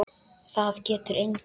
Það getur enginn.